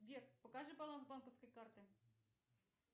сбер покажи баланс банковской карты